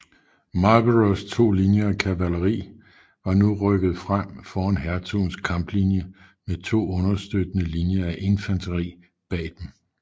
Marlboroughs to linjer af kavaleri var nu rykket frem foran hertugens kamplinje med to understøttende linjer af infanteri bag dem